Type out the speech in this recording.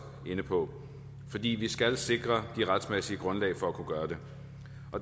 inde på fordi vi skal sikre det retsmæssige grundlag for at kunne gøre det